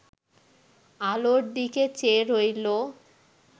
আলোর দিকে চেয়ে রইল